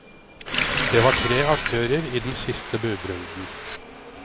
Det var tre aktører i den siste budrunden.